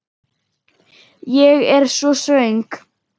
Ég er svo svöng.